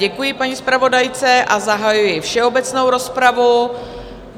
Děkuji paní zpravodajce a zahajuji všeobecnou rozpravu.